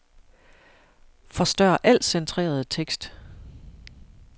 Forstør al centreret tekst.